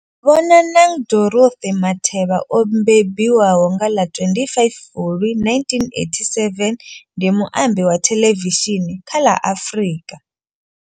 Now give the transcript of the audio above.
Bonang Dorothy Matheba o mbembiwa nga ḽa 25 Fulwi 1987, ndi muambi wa thelevishini kha ḽa Afrika.